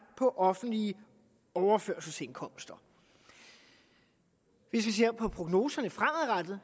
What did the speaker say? på offentlige overførselsindkomster hvis vi ser på prognoserne fremadrettet